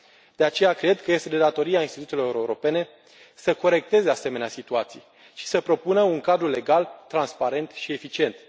De aceea, cred că este de datoria instituțiilor europene să corecteze asemenea situații și să propună un cadru legal transparent și eficient.